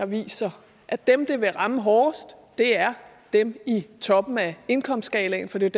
viser at dem det vil ramme hårdest er dem i toppen af indkomstskalaen for det er